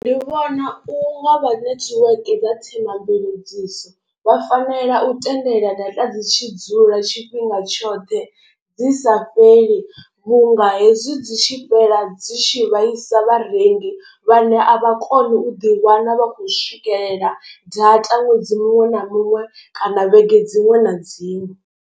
Ndi vhona u nga vha netiweke dza Thema mveledziso vha fanela u tendela data dzi tshi dzula tshifhinga tshoṱhe dzi sa fheli. Vhu nga he zwi dzi tshi fhela dzi tshi vhaisa vharengi vhane a vha koni u ḓi wana vha khou swikelela data ṅwedzi muṅwe na muṅwe kana vhege dziṅwe na dziṅwe.